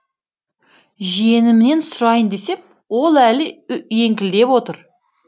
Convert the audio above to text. жиенімнен сұрайын десем ол әлі еңкілдеп отыр